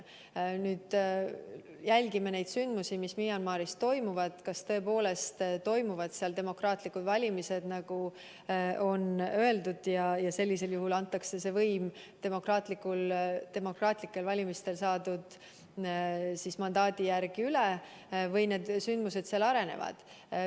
Me nüüd jälgime neid sündmusi, mis Myanmaris toimuvad, et kas tõepoolest toimuvad seal demokraatlikud valimised, nagu on öeldud, ja võim antakse demokraatlikel valimistel saadud mandaadi järgi üle või arenevad sealsed sündmused muus suunas.